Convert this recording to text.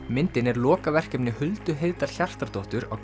myndin er lokaverkefni Huldu Heiðdal Hjartardóttur á